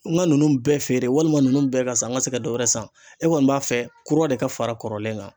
N ga ninnu bɛɛ feere walima nunnu bɛɛ ka san n ka se ka dɔ wɛrɛ san e kɔni b'a fɛ kura de ka fara kɔrɔlen kan